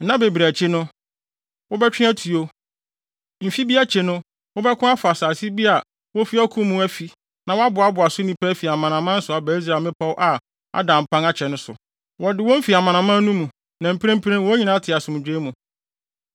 Nna bebree akyi no, wobɛtwe atuo. Mfe bi akyi no wobɛko afa asase bi a wafi ɔko mu afi na wɔaboaboa so nnipa afi amanaman so aba Israel mmepɔw a ada mpan akyɛ no so. Wɔde wɔn fi amanaman no mu, na mprempren wɔn nyinaa te asomdwoe mu.